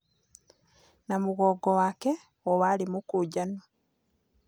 Na mũgongo wake o warĩ mũkũnjanu.